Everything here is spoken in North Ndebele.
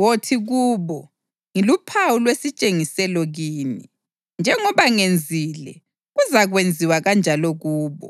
Wothi kubo, ‘Ngiluphawu lwesitshengiselo kini.’ Njengoba ngenzile, kuzakwenziwa kanjalo kubo.